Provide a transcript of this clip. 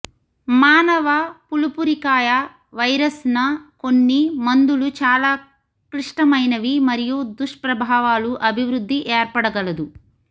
మానవ పులుపురికాయ వైరస్ న కొన్ని మందులు చాలా క్లిష్టమైనవి మరియు దుష్ప్రభావాలు అభివృద్ధి ఏర్పడగలదు